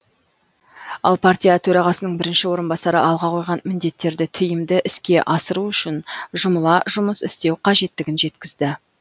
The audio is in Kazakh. ал партия төрағасының бірінші орынбасары алға қойған міндеттерді тиімді іске асыру үшін жұмыла жұмыс істеу қажеттігін жеткізді